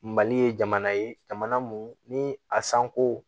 Mali ye jamana ye jamana mun ni a sanko